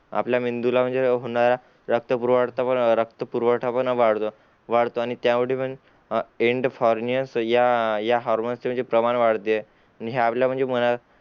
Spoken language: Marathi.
आपल्या मेंदूला म्हणजे होणार रक्तपुरवडता रक्तपुरवठा पण वाढतो वाढतो आणि त्यामुडे पण अंडफोर्नियास या या हार्मोन चा म्हणजे प्रमाण वाढते ने हा आपल्या मना